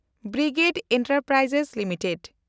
brigade Enterprises limited